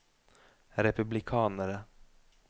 republikanere